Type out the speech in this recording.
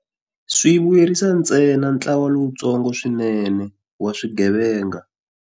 Swi vuyerisa ntsena ntlawa lowutsongo swinene wa swigevenga.